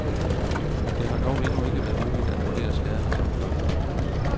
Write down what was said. Det har dog endnu ikke været muligt at vurdere skadernes omfang.